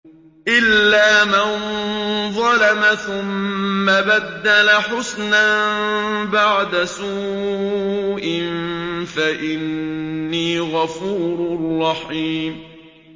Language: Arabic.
إِلَّا مَن ظَلَمَ ثُمَّ بَدَّلَ حُسْنًا بَعْدَ سُوءٍ فَإِنِّي غَفُورٌ رَّحِيمٌ